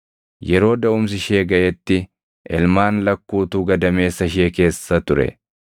Yeroo daʼumsi ishee gaʼetti ilmaan lakkuutu gadameessa ishee keessa ture.